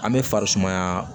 An bɛ farisumaya